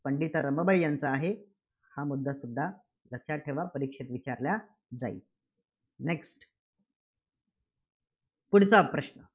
पंडिता रमाबाई यांचं आहे. हा मुद्दा सुद्धा लक्षात ठेवा. परीक्षेत विचारला जाईल. Next पुढचा प्रश्न,